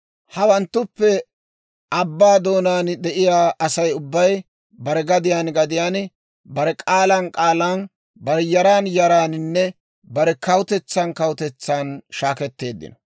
Hawanttuppe abbaa doonaan de'iyaa Asay ubbay bare gadiyaan gadiyaan, bare k'aalan k'aalan, bare yaran yaraaninne, bare kawutetsan kawutetsan shaaketteeddino.